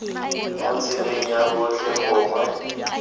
mo tseleng ya botlhe gongwe